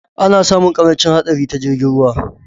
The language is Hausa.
Ana sami ƙarancin haɗari ta jirgin ruwa